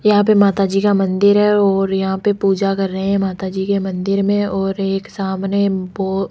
यहां पे माताजी का मंदिर है और यहां पे पूजा कर रहे हैं माता जी के मंदिर में और एक सामने बोहोत --